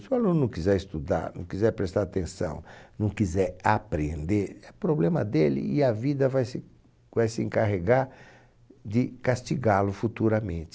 Se o aluno não quiser estudar, não quiser prestar atenção, não quiser aprender, é problema dele e a vida vai se vai se encarregar de castigá-lo futuramente.